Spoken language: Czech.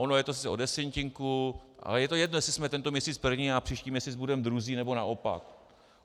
Ono je to sice o desetinku, ale je to jedno, jestli jsme tento měsíc první a příští měsíc budeme druzí, nebo naopak.